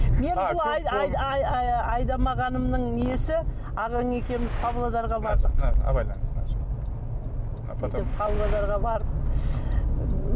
айдамағанымның несі ағаң екеуміз павлодарға бардық абайлаңыз мына жер павлодарға барып